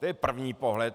To je první pohled.